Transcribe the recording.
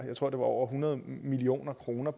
jeg tror det var over hundrede million kroner